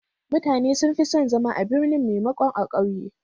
Mutane sun fi son zama a birni maimakon a ƙauye.